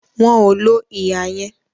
Wọn ò lo ihà yẹn